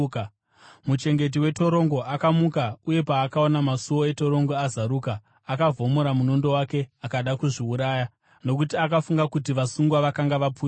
Muchengeti wetorongo akamuka, uye paakaona masuo etorongo azaruka akavhomora munondo wake akada kuzviuraya nokuti akafunga kuti vasungwa vakanga vapunyuka.